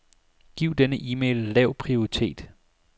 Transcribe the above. Giv denne e-mail lav prioritet.